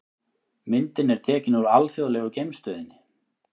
Myndin er tekin úr Alþjóðlegu geimstöðinni.